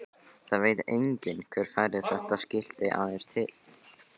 Það veit enginn hver færði þetta skilti aðeins til.